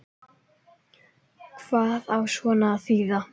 Hvað á svona að þýða